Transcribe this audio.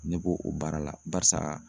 Ne b'o o baara la barisa